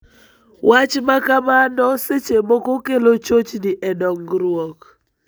Wach makamano seche moko kelo chochni e dongruok.